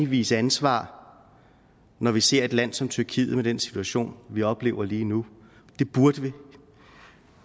vise ansvar når vi ser et land som tyrkiet med den situation vi oplever lige nu det burde vi